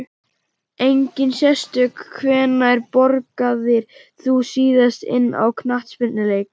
Engin sérstök Hvenær borgaðir þú þig síðast inn á knattspyrnuleik?